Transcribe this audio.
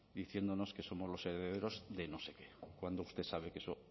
diciéndonos que somos los herederos de no sé qué cuando usted sabe que eso